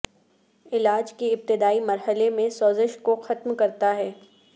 علاج کے ابتدائی مرحلے میں سوزش کو ختم کرتا ہے